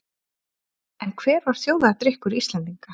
En hver var þjóðardrykkur Íslendinga?